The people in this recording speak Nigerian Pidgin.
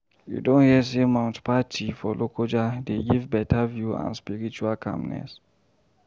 You don hear sey Mount Patti for Lokoja dey give beta view and spiritual calmness?